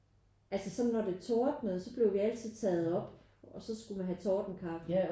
Altså sådan når det tordnede så blev vi altså taget op og så skulle vi have tordenkaffe